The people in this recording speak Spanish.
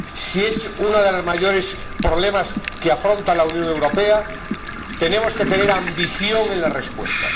Si es uno de los mayores problemas que afronta la Unión Europea, tenemos que tener ambición en la respuesta.